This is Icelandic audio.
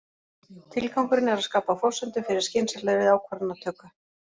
Tilgangurinn er að skapa forsendur fyrir skynsamlegri ákvarðanatöku.